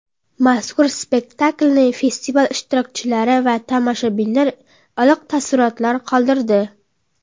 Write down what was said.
Mazkur spektakilni festival ishtirokchilari va tomoshabinlarda iliq taassurot qoldirdi.